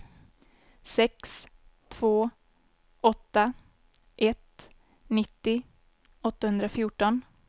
sex två åtta ett nittio åttahundrafjorton